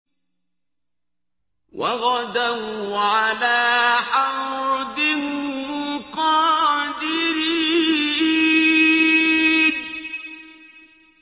وَغَدَوْا عَلَىٰ حَرْدٍ قَادِرِينَ